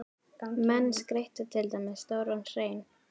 Menn skreyttu til dæmis stóran hrein.